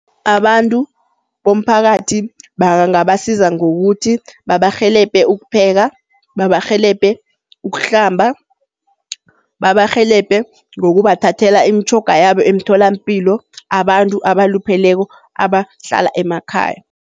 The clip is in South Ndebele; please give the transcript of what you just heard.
Abantu bomphakathi bangabasiza ngokuthi babarhelebhe ukupheka, babarhelebhe ukuhlamba, babarhelebhe ngokubathathela imitjhoga yabo emtholampilo abantu abalupheleko abahlala emakhaya.